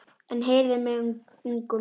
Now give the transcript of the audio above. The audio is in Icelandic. En heyrið mig ungu menn.